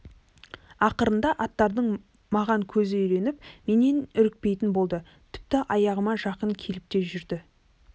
ақырында аттардың маған көзі үйреніп менен үрікпейтін болды тіпті аяғыма жақын келіп те жүрді